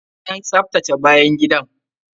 An tsaftace bayan gidan!